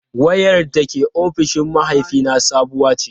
Wayar da ke ofishin mahaifina sabuwa ce.